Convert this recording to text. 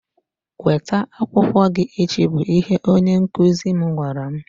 weta akwụkwọ gị echi! bụ ihe onye nkụzi m gwara m.